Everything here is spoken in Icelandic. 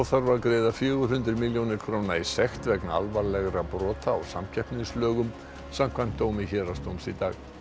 þarf að greiða fjögur hundruð milljónir króna í sekt vegna alvarlegra brota á samkeppnislögum samkvæmt dómi Héraðsdóms í dag